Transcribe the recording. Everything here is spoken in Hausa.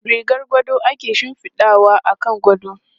Rigar gado ake shifidawa akan gado.